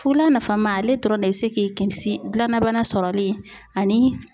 Fula nafama ale dɔrɔn bɛ se k'i kisi gilannabana sɔrɔli ani